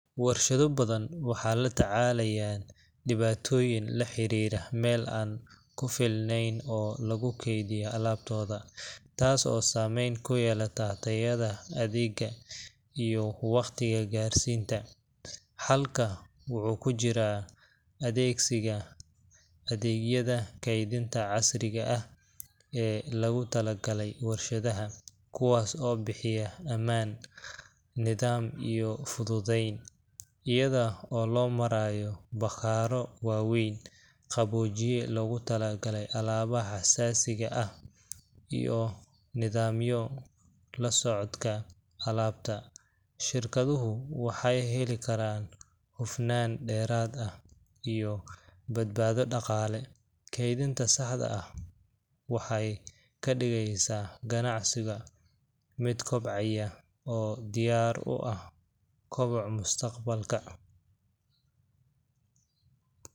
Warshado badan waxay la tacaalaan dhibaatooyin la xiriira meel aan ku filnayn oo lagu kaydiyo alaabtooda, taas oo saameyn ku yeelata tayada adeegga iyo waqtiga gaarsiinta. Xalka wuxuu ku jiraa adeegsiga adeegyada kaydinta casriga ah ee loogu talagalay warshadaha kuwaas oo bixiya ammaan, nidaam, iyo fududeyn. Iyada oo loo marayo bakhaarro waaweyn, qaboojiye loogu talagalay alaabaha xasaasiga ah, iyo nidaamyo la socodka alaabta, shirkaduhu waxay heli karaan hufnaan dheeraad ah iyo badbaado dhaqaale. Kaydinta saxda ah waxay ka dhigeysaa ganacsiga mid kobcaya oo diyaar u ah koboc mustaqbalka